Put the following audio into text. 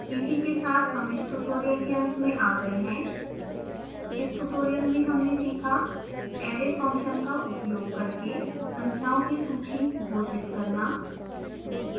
this brings us to the end of this tutorial in this tutorial we have learned to